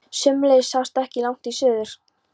Sömuleiðis sást ekki langt í suður.